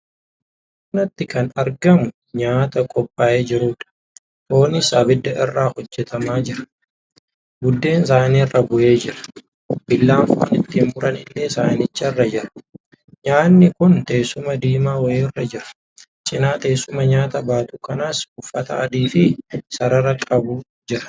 Bakka kanatti kan argamu nyaata qophaa' ee jiruudha. foonis abidda irratti hojjetamaa jira . Buddeen saniiraa buhee jira. Billaan foon ittiin muran illee sanicharra jira. Nyaanni kun teessuma diimaa wayiirra jira. cina teessuma nyaata baatu kanas uffata adii fi sarara qabu jira